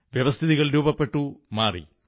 വ്യവസ്ഥിതികൾ രൂപപ്പെട്ട് മാറി